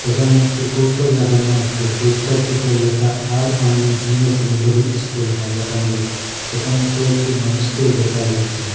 এখানে একটি পোস্টার লাগানো আছে পোস্টারটিতে লেখা Al Amin senior secondary school Hailakandi সেখানে কয়েকটি মানুষকেও দেখা যাচ্ছে।